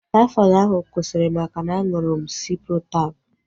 Taifọdụ ahu kwụsịrị maka na-aṅụrụ m Ciprotab